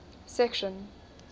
section